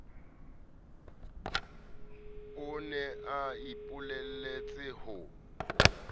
o ne a ipolelletse ho